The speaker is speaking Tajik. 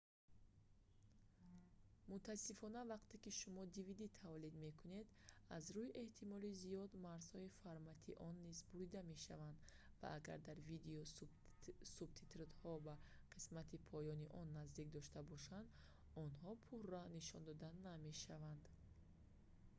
мутаассифона вақте ки шумо dvd тавлид мекунед аз рӯи эҳтимоли зиёд марзҳои формати он низ бурида мешавад ва агар дар видео субтитрҳои ба қисмати поёни он наздик дошта бошад онҳо пурра нишон дода намешаванд